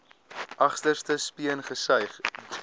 agterste speen gesuig